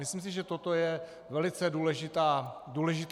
Myslím si, že toto je velice důležitý moment.